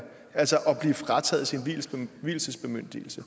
altså blive frataget sin vielsesbemyndigelse